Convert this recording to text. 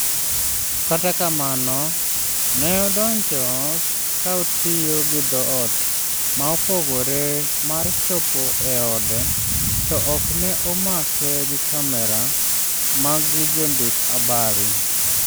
Kata kamano ne odonjo ke otiyo gi dhoot ma opogore mar chopo e ode to ok ne omake gi kamera mag jo ndik abari